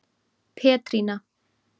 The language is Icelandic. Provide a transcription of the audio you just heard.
Petrína